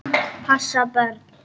Passa börn?